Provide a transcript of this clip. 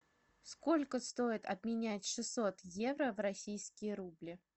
сколько стоит обменять шестьсот евро в российские рубли